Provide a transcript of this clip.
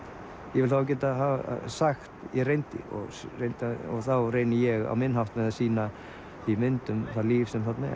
ég vil þá geta sagt ég reyndi reyndi þá reyni ég á minn hátt með að sýna í myndum það líf sem þarna